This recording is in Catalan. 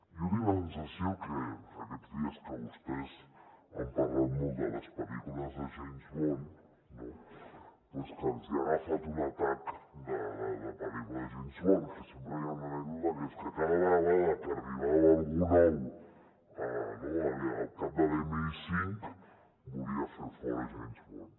jo tinc la sensació que aquests dies que vostès han parlat molt de les pel·lícules de james bond no doncs que els hi ha agafat un atac de pel·lícula de james bond que sempre hi ha una anècdota que és que cada vegada que arribava algú nou al cap de l’mi5 volia fer fora james bond